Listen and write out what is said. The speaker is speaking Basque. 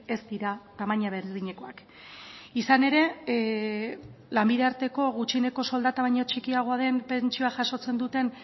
ez dira tamaina berdinekoak izan ere lanbide arteko gutxieneko soldata baino txikiagoa den pentsioa jasotzen duten